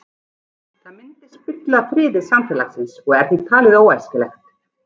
Það myndi spilla friði samfélagsins og er því talið óæskilegt.